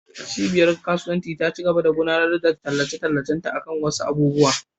Cibiyar kasuwanci ta cigaba da gudanar da tallace-tallacen akan wasu abubuwa.